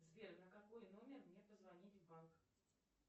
сбер на какой номер мне позвонить в банк